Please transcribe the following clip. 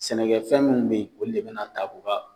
Sɛnɛkɛfɛn minnu bɛ yen , olu de bɛna taa ban